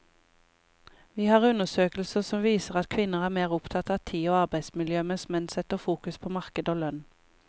Vi har undersøkelser som viser at kvinner er mer opptatt av tid og arbeidsmiljø, mens menn setter fokus på marked og lønn.